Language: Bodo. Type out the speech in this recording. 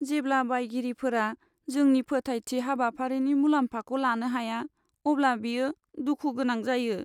जेब्ला बायगिरिफोरा जोंनि फोथायथि हाबाफारिनि मुलाम्फाखौ लानो हाया, अब्ला बियो दुखु गोनां जायो।